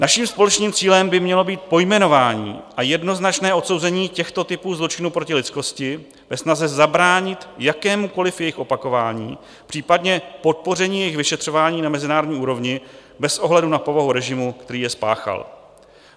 Naším společným cílem by mělo být pojmenování a jednoznačné odsouzení těchto typů zločinů proti lidskosti ve snaze zabránit jakémukoli jejich opakování, případně podpoření jejich vyšetřování na mezinárodní úrovni bez ohledu na povahu režimu, který je spáchal.